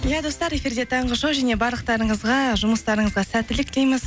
иә достар эфирде таңғы шоу және барлықтарыңызға жұмыстарыңызға сәттілік тілейміз